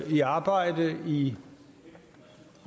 i arbejde i